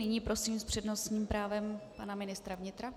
Nyní prosím s přednostním právem pana ministra vnitra.